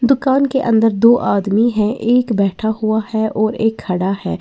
दुकान के अंदर दो आदमी है एक बैठा हुआ है और एक खड़ा है।